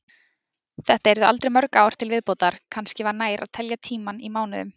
Þetta yrðu aldrei mörg ár til viðbótar, kannski var nær að telja tímann í mánuðum.